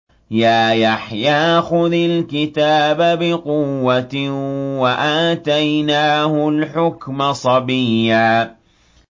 يَا يَحْيَىٰ خُذِ الْكِتَابَ بِقُوَّةٍ ۖ وَآتَيْنَاهُ الْحُكْمَ صَبِيًّا